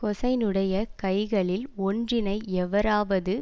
ஹூசைனுடைய கைகளில் ஒன்றினை எவராவது